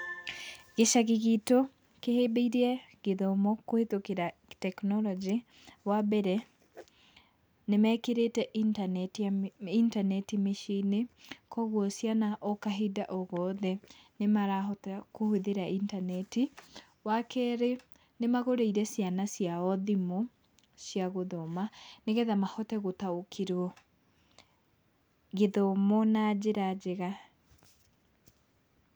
Gĩcagi gitũ kĩhĩmbĩirie gĩthomo kũhĩtũkĩra tekinoronjĩ, wa mbere nĩ mekĩrĩte intaneti mĩciĩ-inĩ, koguo ciana o kahinda o gothe nĩ marahota kũhũthĩra intaneti. Wa kerĩ nĩ magũrĩire ciana ciao thimũ cia gũthoma nĩgetha mahote gũtaũkĩrwo gĩthomo na njĩra njega.